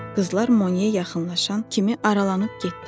Qızlar Moya yaxınlaşan kimi aralanıb getdilər.